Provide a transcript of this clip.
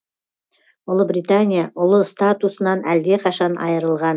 ұлы британия ұлы статусынан әлдеқашан айырылған